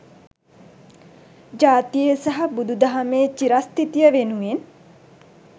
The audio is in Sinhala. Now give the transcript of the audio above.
ජාතියේ සහ බුදුදහමේ විරස්ථිතිය වෙනුවෙන්